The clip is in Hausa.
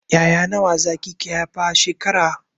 Ya'ya nawa zaki ke haifa a shekara?